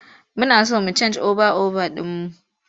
Muna so mu cen oba over ɗin mu.